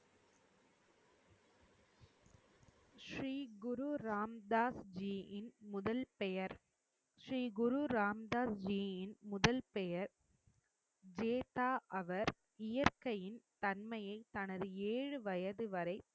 ஸ்ரீ குரு ராம்தாஸ்ஜியின் முதல் பெயர் ஸ்ரீ குரு ராம்தாஸ்ஜியின் முதல் பெயர் கேட்டா அவர் இயற்கையின் தன்மையை தனது ஏழு வயதுவரை